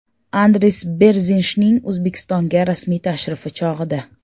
Andris Berzinshning O‘zbekistonga rasmiy tashrifi chog‘ida.